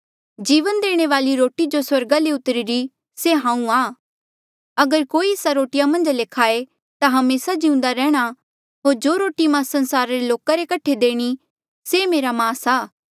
जीवन देणे वाली रोटी जो स्वर्गा ले उतरीरी से हांऊँ आ अगर कोई एस्सा रोटिया मन्झा ले खाये ता हमेसा जिउंदा रैंह्णां होर जो रोटी मां संसारा रे लोका रे कठे देणी से मेरा मास आ